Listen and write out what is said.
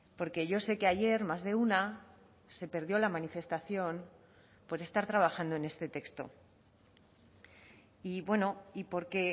porque yo sé que ayer más de una se perdió la manifestación por estar trabajando en este texto y bueno y porque